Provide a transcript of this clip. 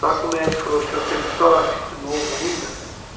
Só que o médico falou o senhor teve sorte, que o senhor é novo ainda